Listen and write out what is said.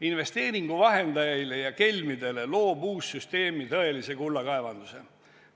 Investeeringuvahendajaile ja kelmidele loob uus süsteem tõelise kullakaevanduse.